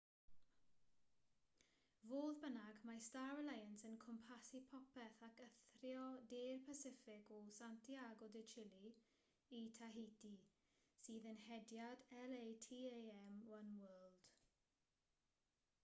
fodd bynnag mae star alliance yn cwmpasu popeth ac eithrio de'r pasiffic o santiago de chile i tahiti sydd yn hediad latam oneworld